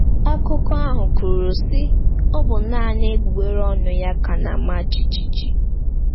Akụkọ ahụ kwuru, sị: “Ọ bụ naanị egbugbere ọnụ ya ka na-ama jijiji.”